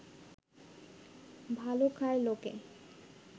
ভালো খায় লোকে